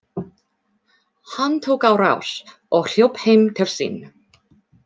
Hann tók á rás og hljóp heim til sín.